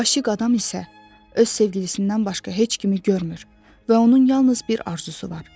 Aşiq adam isə öz sevgilisindən başqa heç kimi görmür və onun yalnız bir arzusu var.